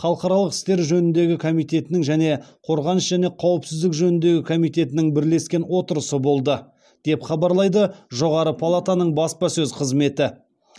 халықаралық істер жөніндегі комитетінің және қорғаныс және қауіпсіздік жөніндегі комитетінің бірлескен отырысы болды деп хабарлайды жоғары палатаның баспасөз қызметі